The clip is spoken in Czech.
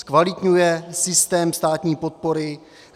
Zkvalitňuje systém státní podpory?